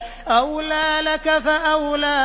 أَوْلَىٰ لَكَ فَأَوْلَىٰ